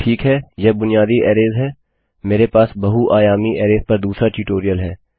ठीक है यह बुनियादी अरैजहै मेरे पास बहु आयामी अरैज पर दूसरा ट्यूटोरियल है